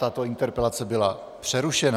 Tato interpelace byla přerušena.